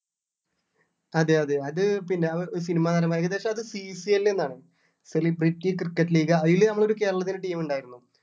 അതെ അതെ അത് പിന്നെ cinema നടമാർ ഏകദേശം അത് CCL എന്നാണ് celebrity cricket league അയില് നമ്മള് കേരളത്തിന് team ഉണ്ടായിരുന്നു